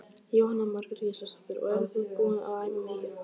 Jóhanna Margrét Gísladóttir: Og eruð þið búin að æfa mikið?